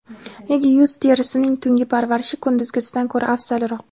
Nega yuz terisining tungi parvarishi kunduzgisidan ko‘ra afzalroq?.